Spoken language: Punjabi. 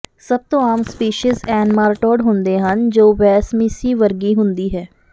ਸਭ ਤੋਂ ਆਮ ਸਪੀਸੀਜ਼ ਐਨਮਾਰਟੌਡ ਹੁੰਦੇ ਹਨ ਜੋ ਵੈਸਮੀਸੀ ਵਰਗੀ ਹੁੰਦੀ ਹੈ